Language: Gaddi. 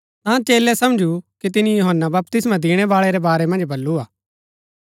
ता चेलै समझू कि तिनी यूहन्‍ना बपतिस्मा दिणैबाळै रै बारै मन्ज बल्लू हा